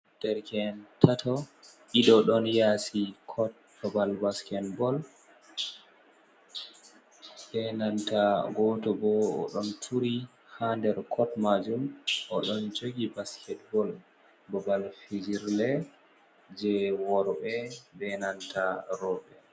Derke en tato, ɗiɗo don yasi kot babal basket bol be nanta goto bo o ɗon turi ha der kot majun o ɗon jogi basket bol. Babal fijirde je worɓe be nanta roɓe.